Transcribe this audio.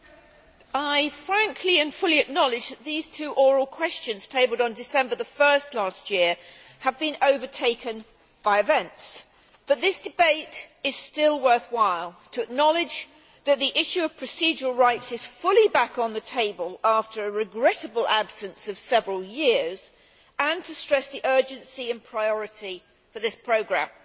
Mr President, I frankly and fully acknowledge that these two oral questions tabled on 1 December last year have been overtaken by events, but this debate is still worthwhile to acknowledge that the issue of procedural rights is fully back on the table after a regrettable absence of several years and to stress the urgency and priority of this programme.